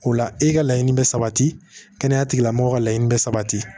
O la e ka laɲini bɛ sabati kɛnɛya tigilamɔgɔw ka laɲini bɛ sabati